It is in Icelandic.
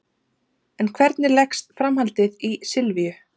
En hvernig leggst framhaldið í Silvíu?